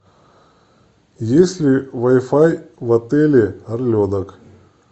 есть ли вай фай в отеле орленок